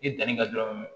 I danni kɛ dɔrɔn